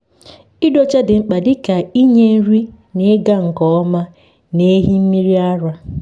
ịdị ọcha dị mkpa dịka inye nri n’ịga nke ọma n’ehi mmiri ara.